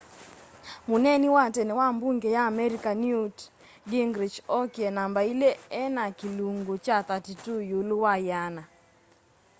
muneeni wa tene wa mbunge ya amerika newt gingrich okie namba ili ena kilungu kya 32 ilu wa yiana